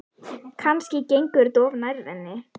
Kannski gengur þetta of nærri henni.